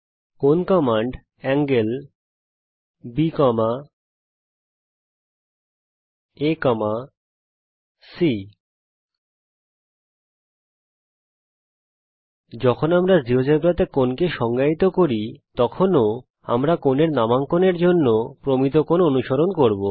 কোণ কমান্ড হল B আ C যখন আমরা জীয়োজেব্রাতে কোণকে সংজ্ঞায়িত করি তখনও আমরা কোণের নামাঙ্কনের জন্যে প্রমিত কোণ অনুসরণ করব